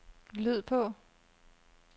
lyd på